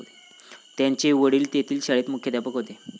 त्याचे वडील तेथील शाळेत मुख्याध्यापक होते.